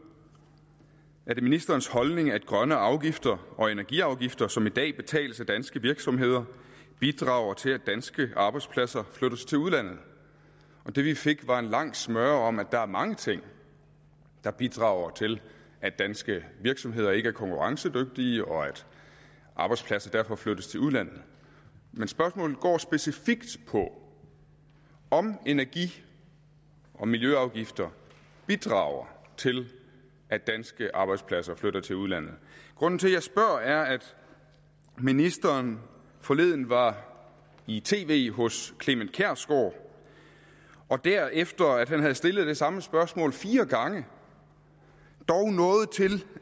er det ministerens holdning at grønne afgifter og energiafgifter som i dag betales af danske virksomheder bidrager til at danske arbejdspladser flyttes til udlandet det vi fik var en lang smøre om at der er mange ting der bidrager til at danske virksomheder ikke er konkurrencedygtige og at arbejdspladser derfor flyttes til udlandet men spørgsmålet går specifikt på om energi og miljøafgifter bidrager til at danske arbejdspladser flytter til udlandet grunden til at jeg spørger er at ministeren forleden var i tv hos clement kjersgaard og der efter at han havde stillet det samme spørgsmål fire gange dog nåede til